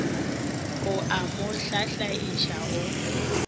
o a mo hlahlaiša o